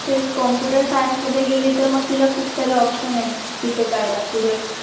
तेच computerscience मध्ये गेली तर मग तिला खूप सारे options आहेत तिथे जायला पुढे.